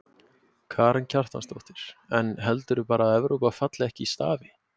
Karen Kjartansdóttir: En heldurðu bara að Evrópa falli ekki í stafi?